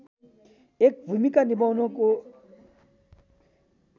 एक भूमिका निभाउनको